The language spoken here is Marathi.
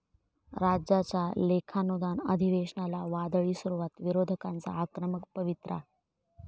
राज्याच्या लेखानुदान अधिवेशनाला 'वादळी' सुरुवात, विरोधकांचा आक्रमक पवित्रा